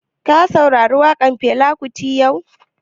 Ka saurari waƙan Fela kuti yau?